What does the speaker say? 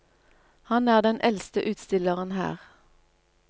Han er den eldste utstilleren her.